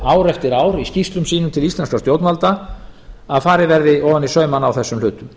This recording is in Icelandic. ár eftir ár í skýrslum sínum til íslenskra stjórnvalda að farið verði ofan í saumana á þessum hlutum